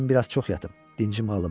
Dedim biraz çox yatım, dinçim alım.